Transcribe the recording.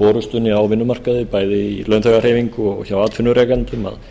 forustunni á vinnumarkaði bæði hjá launþegahreyfingu og hjá atvinnurekendum að